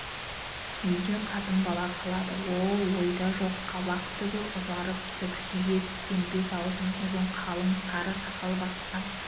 үйде қатын-бала қалады ол ойда жоқ қабақтүгі ұзарып түксие түскен бет-аузын ұзын қалың сар сақал басқан